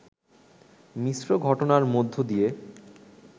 মিশ্র ঘটনার মধ্য দিয়ে